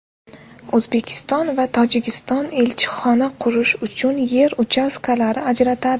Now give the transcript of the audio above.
O‘zbekiston va Tojikiston elchixona qurish uchun yer uchastkalari ajratadi.